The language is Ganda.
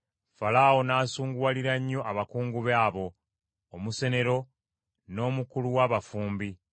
Falaawo n’asunguwalira nnyo abakungu be abo: omusenero n’omukulu w’abafumbi,